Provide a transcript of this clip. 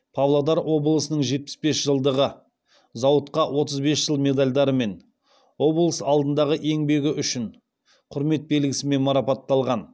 павлодар облысының жетпіс бес жылдығы зауытқа отыз бес жыл медальдарымен облыс алдындағы еңбегі үшін құрмет белгісімен марапатталған